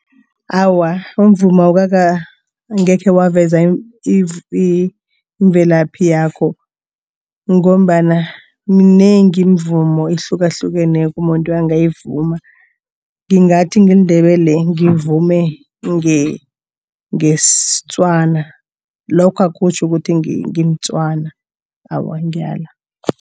Awa, umvumo angekhe waveza imvelaphi yakho, ngombana minengi imvumo ehlukahlukeneko umuntu angayivuma. Ngingathi ngiliNdebele ngivume ngeSetswana lokho akutjho ukuthi ngimTswana, awa ngiyala.